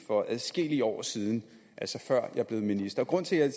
for adskillige år siden altså før jeg blev minister grunden til at